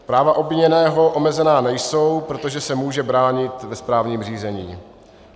Práva obviněného omezena nejsou, protože se může bránit ve správním řízení.